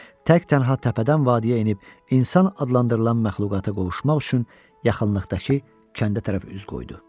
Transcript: Tək-tənha təpədən vadiyə enib insan adlandırılan məxluqata qovuşmaq üçün yaxınlıqdakı kəndə tərəf üz qoydu.